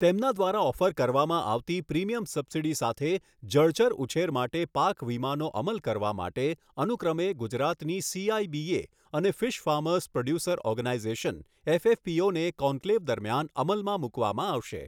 તેમના દ્વારા ઓફર કરવામાં આવતી પ્રીમિયમ સબસિડી સાથે જળચરઉછેર માટે પાક વીમાનો અમલ કરવા માટે અનુક્રમે ગુજરાતની સીઆઈબીએ અને ફિશ ફાર્મર્સ પ્રોડ્યુસર ઓર્ગેનાઇઝેશન એફએફપીઓને કોન્ક્લેવ દરમિયાન અમલમાં મૂકવામાં આવશે.